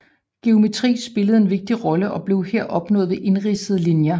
Geometri spillede en vigtig rolle og blev her opnået ved indridsede linjer